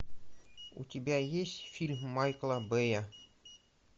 у тебя есть фильм майкла бэя